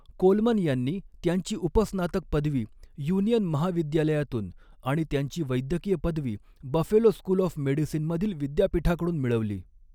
Coleman यांनी त्यांची उपस्नातक पदवी युनियन महाविद्यालयातून आणि त्यांची वैद्यकीय पदवी बफेलो स्कूल ऑफ मेडिसीनमधील विद्यापीठाकडून मिळवली.